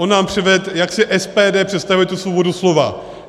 On nám předvedl, jak si SPD představuje tu svobodu slova.